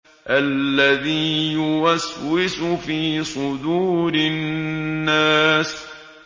الَّذِي يُوَسْوِسُ فِي صُدُورِ النَّاسِ